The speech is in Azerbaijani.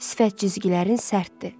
Sifət cizgilərin sərtdir.